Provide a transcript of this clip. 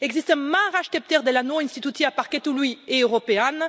Există mari așteptări de la noi instituția Parchetului European.